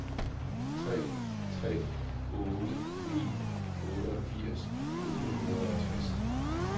tre tre otte ni otteogfirs otte hundrede og tres